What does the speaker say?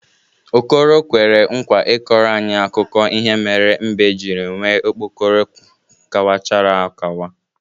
Okoro kwere nkwa ịkọrọ anyị akụkọ ihe mere mbe jiri nwee okpokoro kawachara akawa.